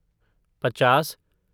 पचास